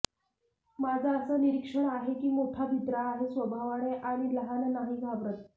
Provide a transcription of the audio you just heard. माझ अस निरिक्षण आहे की मोठा भित्रा आहे स्वभावाने आणि लहान नाही घाबरत